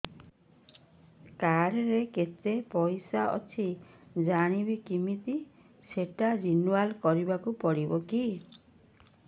card ରେ କେତେ ପଇସା ଅଛି ଜାଣିବି କିମିତି ସେଟା ରିନୁଆଲ କରିବାକୁ ପଡ଼ିବ କି